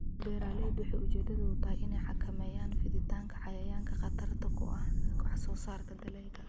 Beeraleydu waxay ujeedadoodu tahay inay xakameeyaan fiditaanka cayayaanka khatarta ku ah wax soo saarka dalagga.